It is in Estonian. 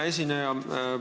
Hea esineja!